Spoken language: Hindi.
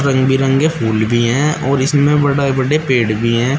रंग बिरंगे फूल भी हैं और इसमें बड़े बड़े पेड़ भी हैं।